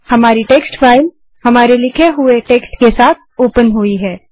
हमारी text file हमारे लिखे हुए टेक्स्ट के साथ ओपन हुई है